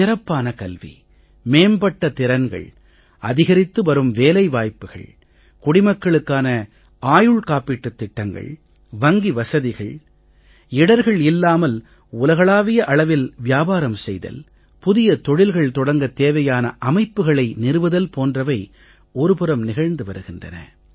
சிறப்பான கல்வி மேம்பட்ட திறன்கள் அதிகரித்து வரும் வேலை வாய்ப்புக்கள் குடிமக்களுக்கான ஆயுள் காப்பீட்டுத் திட்டங்கள் வங்கி வசதிகள் இடர்கள் இல்லாமல் உலகளாவிய அளவில் வியாபாரம் செய்தல் புதிய தொழில்கள் தொடங்கத் தேவையான அமைப்புகளை நிறுவுதல் போன்றவை ஒரு புறம் நிகழ்ந்து வருகின்றன